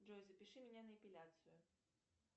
джой запиши меня на эпиляцию